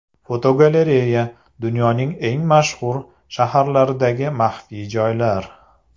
Fotogalereya: Dunyoning eng mashhur shaharlaridagi maxfiy joylar.